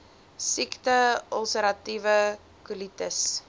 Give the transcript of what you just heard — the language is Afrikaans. siekte ulseratiewe kolitis